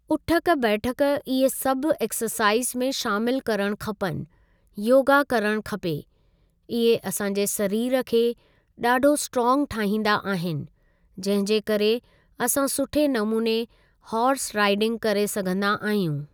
उठक बैठक इहे सभु एक्ससाइज़ में शामिल करणु खपनि योगा करणु खपे, इहे असां जे सरीरु खे ॾाढो स्ट्रांग ठाहींदा आहिनि जंहिं जे करे असां सुठे नमूने हॉर्स राइडिंग करे सघंदा आहियूं ।